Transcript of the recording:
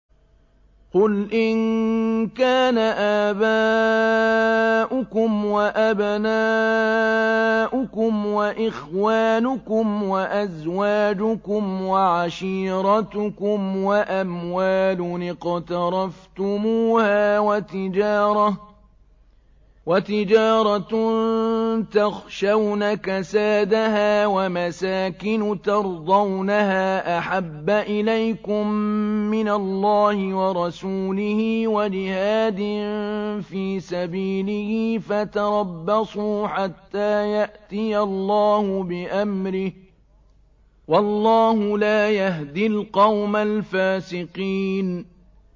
قُلْ إِن كَانَ آبَاؤُكُمْ وَأَبْنَاؤُكُمْ وَإِخْوَانُكُمْ وَأَزْوَاجُكُمْ وَعَشِيرَتُكُمْ وَأَمْوَالٌ اقْتَرَفْتُمُوهَا وَتِجَارَةٌ تَخْشَوْنَ كَسَادَهَا وَمَسَاكِنُ تَرْضَوْنَهَا أَحَبَّ إِلَيْكُم مِّنَ اللَّهِ وَرَسُولِهِ وَجِهَادٍ فِي سَبِيلِهِ فَتَرَبَّصُوا حَتَّىٰ يَأْتِيَ اللَّهُ بِأَمْرِهِ ۗ وَاللَّهُ لَا يَهْدِي الْقَوْمَ الْفَاسِقِينَ